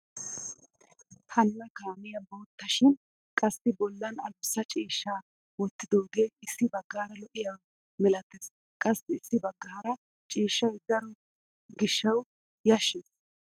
Hanna kaamiyaa bootta shin qassi i bollan adussa ciishshaa wottidoogee issi baggaara lo"iyaaba milates qassi issi baggaara ciishshay daro giishshawu yashshees.